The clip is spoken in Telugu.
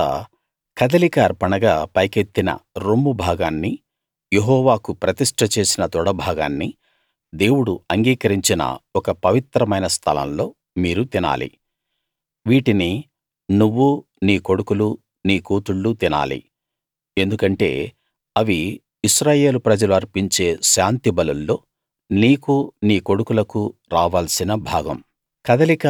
తరువాత కదలిక అర్పణగా పైకెత్తిన రొమ్ము భాగాన్నీ యెహోవాకు ప్రతిష్ట చేసిన తొడ భాగాన్నీ దేవుడు అంగీకరించిన ఒక పవిత్రమైన స్థలంలో మీరు తినాలి వీటినీ నువ్వూ నీ కొడుకులూ నీ కూతుళ్ళూ తినాలి ఎందుకంటే అవి ఇశ్రాయేలు ప్రజలు అర్పించే శాంతిబలుల్లో నీకూ నీ కొడుకులకూ రావాల్సిన భాగం